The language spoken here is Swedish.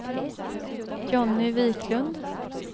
Jonny Viklund